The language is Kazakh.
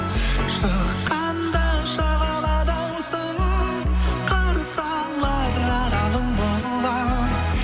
шыққанда шағала даусың қарсы алар аралың боламын